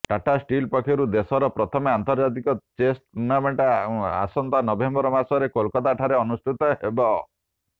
Tata steel ପକ୍ଷରୁ ଦେଶର ପ୍ରଥମ ଆନ୍ତର୍ଜାତିକ ଚେସ୍ ଟୁର୍ଣ୍ଣାମେଣ୍ଟ ଆସନ୍ତା ନଭେମ୍ବର ମାସରେ କୋଲକାତାଠାରେ ଅନୁଷ୍ଠିତ ହେବ